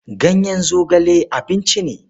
Ganyen zogale abinci ne.